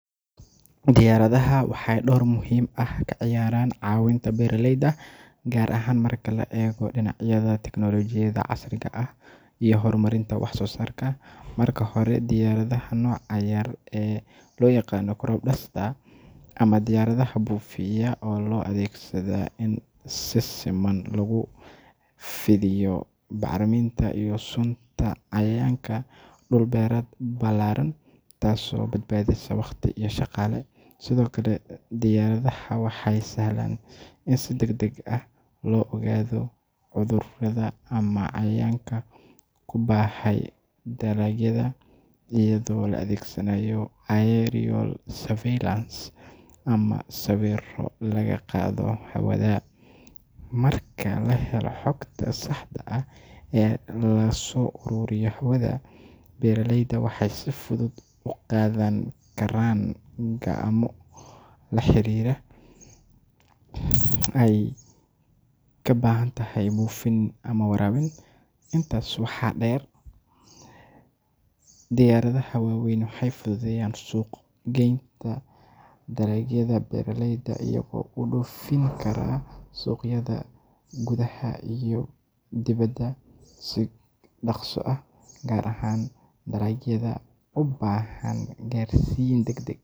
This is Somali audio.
Diyaaradaha waxay door muhiim ah ka ciyaaraan caawinta beeraleyda, gaar ahaan marka laga eego dhinacyada tiknoolajiyada casriga ah iyo horumarinta wax soo saarka. Marka hore, diyaaradaha nooca yar ee loo yaqaan crop duster ama diyaaradaha buufiya ayaa loo adeegsadaa in si siman loogu fidiiyo bacriminta iyo sunta cayayaanka dhul beereed ballaaran, taasoo badbaadisa waqti iyo shaqaale. Sidoo kale, diyaaradaha waxay sahlaan in si degdeg ah loo ogaado cudurrada ama cayayaanka ku baahay dalagyada iyadoo la adeegsanayo aerial surveillance ama sawirro laga qaado hawada. Marka la helo xogta saxda ah ee laga soo ururiyo hawada, beeraleydu waxay si fudud u qaadan karaan go’aamo la xiriira halka ay ka baahantahay buufin ama waraabin. Intaas waxaa dheer, diyaaradaha waaweyn waxay fududeeyaan suuq-geynta dalagyada beeraleyda iyagoo u dhoofin kara suuqyada gudaha iyo dibadda si dhakhso ah, gaar ahaan dalagyada u baahan gaarsiin.